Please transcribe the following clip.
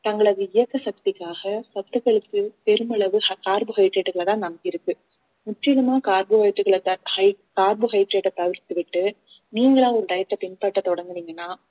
தங்களது இயக்க சக்திக்காக சத்துக்களுக்கு பெருமளவு carbohydrate களை தான் நம்பியிருக்கு முற்றிலுமா carbohydrate களை carbohydrate அ தவிர்த்து விட்டு நீங்களா ஒரு diet அ பின்பற்ற தொடங்குனீங்கன்னா